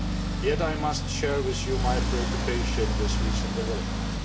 Yet I must share with you my preoccupation with recent developments.